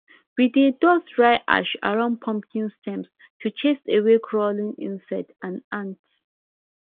we dey dust dry ash around pumpkin stems to chase away crawling insects and ants